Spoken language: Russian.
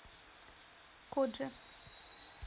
кодже